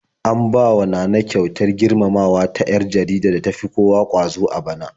An bawa Nana kyautar girmamawa ta 'yar jaridar da tafi kowa ƙwazo a bana.